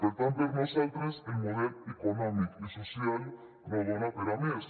per tant per nosaltres el model econòmic i social no dona per a més